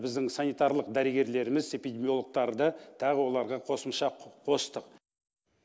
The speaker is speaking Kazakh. біздің санитарлық дәрігерлеріміз эпидемилогтарды тағы оларға қосымша қостық